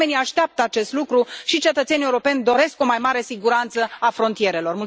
Oamenii așteaptă acest lucru, și cetățenii europeni doresc o mai mare siguranță a frontierelor.